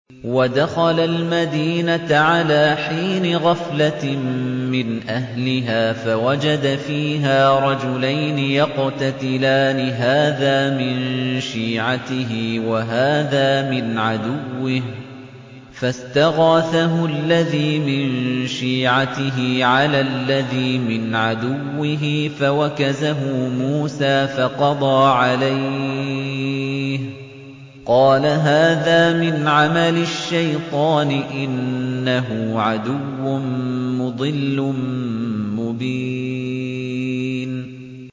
وَدَخَلَ الْمَدِينَةَ عَلَىٰ حِينِ غَفْلَةٍ مِّنْ أَهْلِهَا فَوَجَدَ فِيهَا رَجُلَيْنِ يَقْتَتِلَانِ هَٰذَا مِن شِيعَتِهِ وَهَٰذَا مِنْ عَدُوِّهِ ۖ فَاسْتَغَاثَهُ الَّذِي مِن شِيعَتِهِ عَلَى الَّذِي مِنْ عَدُوِّهِ فَوَكَزَهُ مُوسَىٰ فَقَضَىٰ عَلَيْهِ ۖ قَالَ هَٰذَا مِنْ عَمَلِ الشَّيْطَانِ ۖ إِنَّهُ عَدُوٌّ مُّضِلٌّ مُّبِينٌ